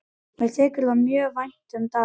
Mér þykir mjög vænt um Davíð.